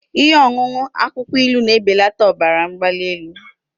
Ihe ọṅụṅụ akwukwo ilu na-ebelata ọbara mgbali elu